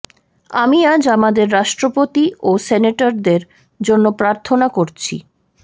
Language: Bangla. আমি আজ আমাদের রাষ্ট্রপতি ও সেনেটরদের জন্য প্রার্থনা করছি